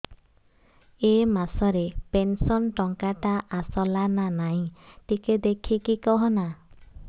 ଏ ମାସ ରେ ପେନସନ ଟଙ୍କା ଟା ଆସଲା ନା ନାଇଁ ଟିକେ ଦେଖିକି କହନା